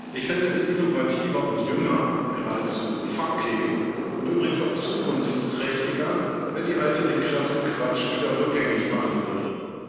Ich fände es innovativer und jünger, geradezu funky und übrigens auch zukunftsträchtiger, wenn die Alte den krassen Quatsch wieder rückgängig machen würde.